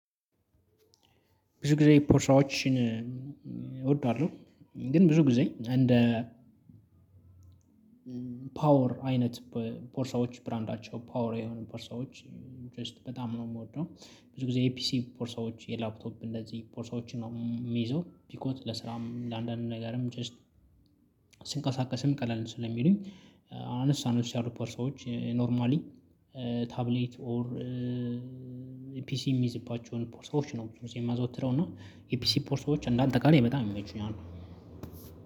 ብዙ ጊዜ ፖርሳዎችን እወደዋለሁ ግን ብዙ ጊዜ እንደ ፓወር አይነት ፖርሳዎች ብራንዳቸው ፓወር የሆኑ ፖርሳዎች ጀስት በጣም ነው የምወደው። ብዙ ጊዜ የፒሲ ፖርሳዎች የላፕቶፕ እንደዚህ ፖርሳዎችን ነው የሚይዘው ቢኮዝ ለስራም ለአንዳንድ ነገርም ጀስት ስንቀሳቀስም ቀለል ስለሚሉኝ አነስ አነስ ያሉ ፖርሳዎች ኖርማሊ ታብሌት ኦር ፒሲ የሚይዝባቸውን ፖርሳዎች ነው ብዙ ጊዜ ማዘወትረው እና የፒሲ ፖርሶዎች እንዳንጠቃላይ በጣም ይመቹኛል።